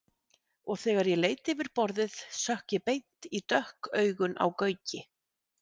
Og þegar ég leit yfir borðið sökk ég beint í dökk augun á Gauki.